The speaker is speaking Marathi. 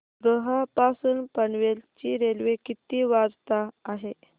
रोहा पासून पनवेल ची रेल्वे किती वाजता आहे